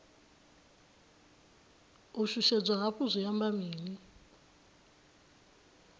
u shushedzwa hafhu zwi amba mini